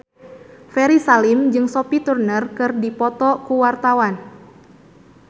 Ferry Salim jeung Sophie Turner keur dipoto ku wartawan